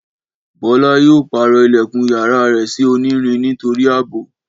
Bọ́lá yóò pàrọ̀ ilẹ̀kùn yàrá rẹ̀ sí onírin nítorí àbò